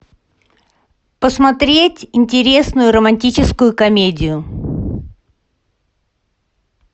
посмотреть интересную романтическую комедию